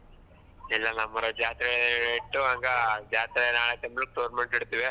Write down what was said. ಇಲ್ಲಾ ನಮ್ ಊರಾಗ ಜಾತ್ರೆ ಇತ್ತು ಹಂಗ ಜಾತ್ರೆಯಲ್ಲ ಆದ್ಮೇಲೆ tournament . ಇಡ್ತೀವಿ.